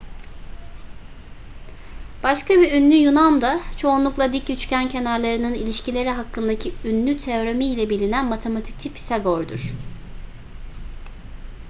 başka bir ünlü yunan da çoğunlukla dik üçgen kenarlarının ilişkileri hakkındaki ünlü teoremiyle bilinen matematikçi pisagor'dur